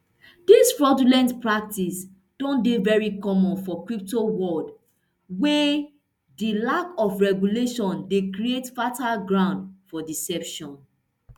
dis fraudulent practice don dey veri common for crypto world wia di lack of regulation dey create fertile ground for deception